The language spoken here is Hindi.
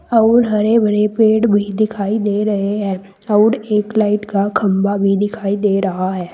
अउर हरे भरे पेड़ भी दिखाई दे रहे हैं अउर एक लाइट का खंबा भी दिखाई दे रहा है।